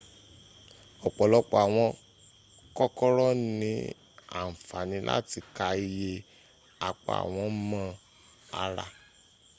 ọ̀pọ̀lọpọ̀ àwọn kòkòrò ní àǹfàní láti ká ìyẹ́ apá won mọ́ ara